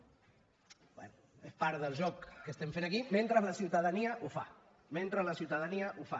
bé és part del joc que estem fent aquí mentre la ciutadania ho fa mentre la ciutadania ho fa